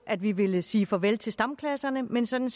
at vi ville sige farvel til stamklasserne men sådan